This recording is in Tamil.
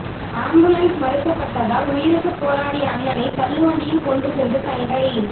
ஆம்புலன்ஸ் மறுக்கப்பட்டதால் உயிருக்கு போராடிய அண்ணணை தள்ளுவண்டியில் கொண்டு சென்ற தங்கை